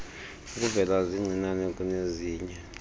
ukuvela zincinane kunezinye